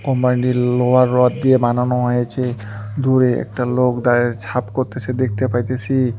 কোম্পানিটি লোহার রড দিয়ে বানানো হয়েছে দূরে একটা লোক দাঁড়িয়ে ছাপ করতেছে দেখতে পাইতেছি।